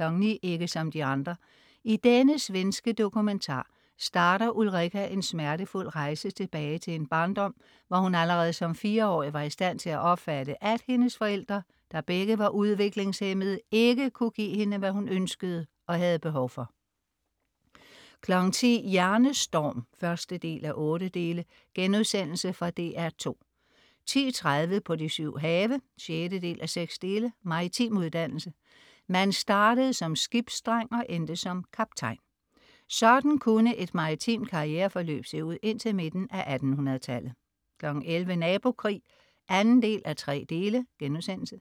09.00 Ikke som de andre. I denne svenske dokumentar starter Ulrika en smertefuld rejse tilbage til en barndom, hvor hun allerede som 4-årig var i stand til at opfatte, at hendes forældre, der begge var udviklingshæmmede, ikke kunne give hende, hvad hun ønskede og havde behov for 10.00 Hjernestorm 1:8.* Fra DR2 10.30 På de syv have 6:6. Maritim uddannelse. Man startede som skibsdreng og endte som kaptajn. Sådan kunne et maritimt karriereforløb se ud indtil midten af 1800-tallet 11.00 Nabokrig 2:3*